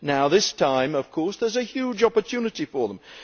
This time, of course, there is a huge opportunity for them.